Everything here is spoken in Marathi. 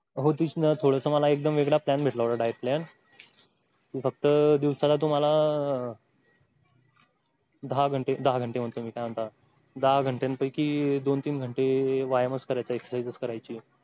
हो तेच ना थोडंसं मला वेगळा plan भेटला होता diet plan फक्त दिवसाला तुम्हाला दहा घंटे दहा घंटे म्हणतो मी काय म्हणता दहा घंट्यांपैकी दोन तीन घंटे वायामच करायचं आहे exercise च करायची आहे.